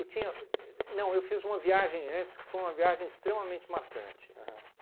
Eu tinha não, eu fiz uma viagem antes, que foi uma viagem extremamente marcante. Aham